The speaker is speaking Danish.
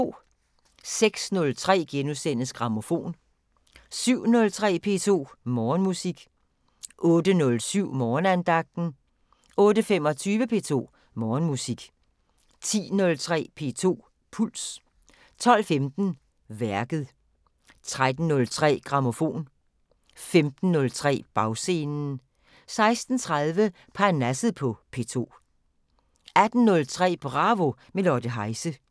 06:03: Grammofon * 07:03: P2 Morgenmusik 08:07: Morgenandagten 08:25: P2 Morgenmusik 10:03: P2 Puls 12:15: Værket 13:03: Grammofon 15:03: Bagscenen 16:30: Parnasset på P2 18:03: Bravo – med Lotte Heise